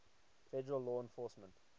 federal law enforcement